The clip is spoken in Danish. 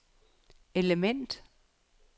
element